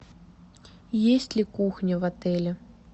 есть ли кухня в отеле